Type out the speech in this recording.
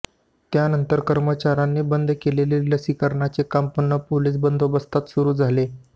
त्यानंतर कर्मचाऱ्यांनी बंद केलेले लसीकरणाचे काम पुन्हा पोलीस बंदोबस्तात सुरू झाले